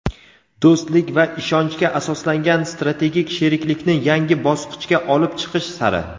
doʼstlik va ishonchga asoslangan strategik sheriklikni yangi bosqichga olib chiqish sari.